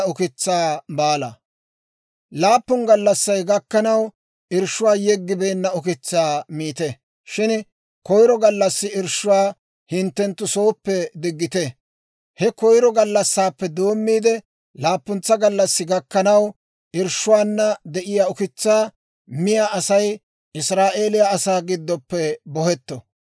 «Laappun gallassay gakkanaw irshshuwaa yeggibeenna ukitsaa miite; shin koyro gallassi irshshuwaa hinttenttu sooppe diggite. He koyro gallassaappe doommiide laappuntsaa gallassi gakkanaw, irshshuwaana de'iyaa ukitsaa miyaa Asay Israa'eeliyaa asaa giddoppe bohetto.